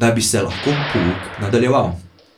da bi se lahko pouk nadaljeval.